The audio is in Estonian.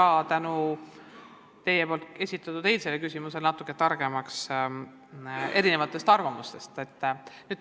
Sain eile tänu teie esitatud küsimusele natuke targemaks erinevate arvamuste osas.